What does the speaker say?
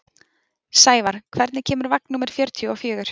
Sævar, hvenær kemur vagn númer fjörutíu og fjögur?